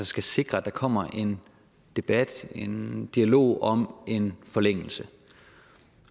skal sikre at der kommer en debat en dialog om en forlængelse